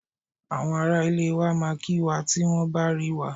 Àwọn ará ilé wa máa kí wá tí wọ́n bá rí wa.